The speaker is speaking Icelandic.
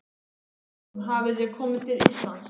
Hugrún: Hafið þið komi til Íslands?